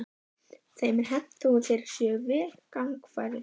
Þeim er hent þó að þeir séu vel gangfærir.